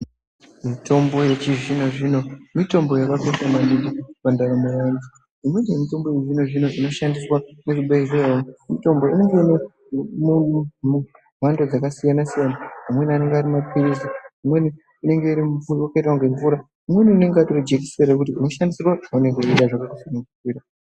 Mitombo yechizvino-zvino, mitombo yakakosha maningi pandaramo yedu, uye mitombo yechizvino-zvino inoshandiswa muzvibhedhlera, mitombo inenge ine mhando dzakasiyana-siyana, imweni anenge arimaphiritsi, imweni yakaita kunge mvura. Imweni rinenge ritori jekiseni, rekuti unoshandisa zvaunenge weida, zvakakusunungukira.